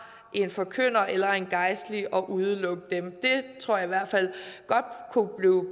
en forkynder eller en gejstlig og udelukke dem det tror jeg i hvert fald godt kunne